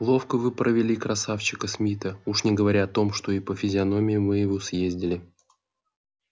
ловко вы провели красавчика смита уж не говоря о том что и по физиономии ему съездили